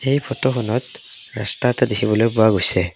এই ফটোখনত ৰাস্তা এটা দেখিবলৈ পোৱা গৈছে।